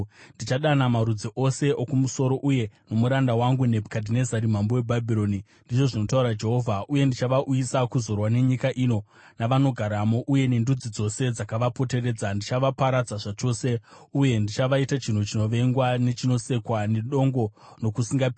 ndichadana marudzi ose okumusoro uye nomuranda wangu Nebhukadhinezari mambo weBhabhironi,” ndizvo zvinotaura Jehovha, “uye ndichavauyisa kuzorwa nenyika ino navanogaramo uye nendudzi dzose dzakavapoteredza. Ndichavaparadza zvachose uye ndichavaita chinhu chinovengwa nechinosekwa, nedongo nokusingaperi.